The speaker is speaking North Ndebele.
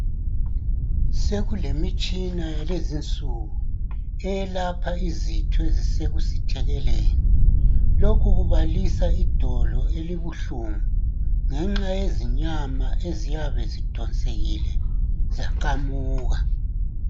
Sekulemitshina yalezinsuku eyelapha izitho ezisekusithekeleni. Lokhu kubalisa idolo elibuhlungu ngenxa yezinyama eziyabe zidonselekile zaqamuka.